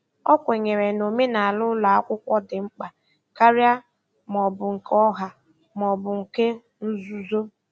O kwenyere na omenala ụlọ akwụkwọ dị mkpa karịa ma ọ bụ nke ọha ma ọ bụ nke nzuzo.